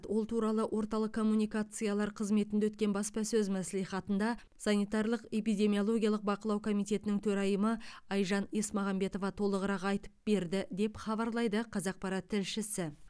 ол туралы орталық коммуникациялар қызметінде өткен баспасөз мәслихатында санитарлық эпидемиологиялық бақылау комитетінің төрайымы айжан есмағамбетова толығырақ айтып берді деп хабарлайды қазақпарат тілшісі